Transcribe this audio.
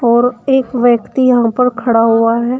और एक व्यक्ति यहां पर खड़ा हुआ है।